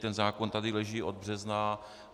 Ten zákon tady leží od března.